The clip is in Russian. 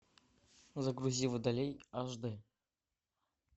загрузи водолей аш д